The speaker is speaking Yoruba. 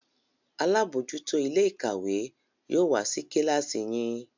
àlabòjuto Ilé-ìkàwé yóò wá sí kilasi yín